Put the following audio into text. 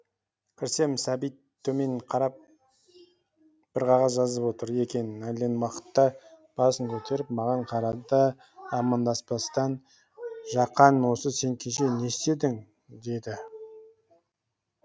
кірсем сәбит төмен қарап бір қағаз жазып отыр екен әлден уақытта басын көтеріп маған қарады да амандаспастан жақан осы сен кеше не істедің деді